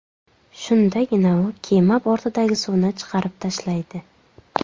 Shundagina u kema bortidagi suvni chiqarib tashlaydi.